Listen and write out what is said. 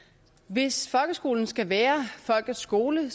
hvis folkeskolen skal være folkets skole